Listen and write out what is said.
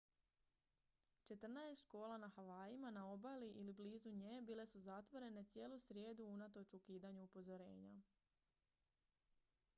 četrnaest škola na havajima na obali ili blizu nje bile su zatvorene cijelu srijedu unatoč ukidanju upozorenja